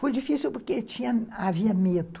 Foi difícil porque tinha, havia medo.